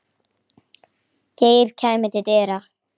Geir kæmi til dyra.